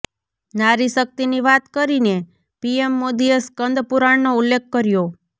નારી શક્તિની વાત કરીને પીએમ મોદીએ સ્કંદ પુરાણનો ઉલ્લેખ કર્યો